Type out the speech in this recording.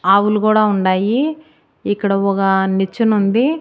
ఆవులు గుడా వుండాయి ఇక్కడ ఒగ నిచ్చెనుంది.